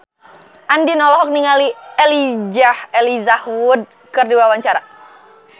Andien olohok ningali Elijah Wood keur diwawancara